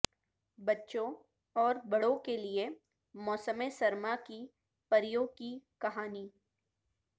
بچوں اور بڑوں کے لئے موسم سرما کی پریوں کی کہانی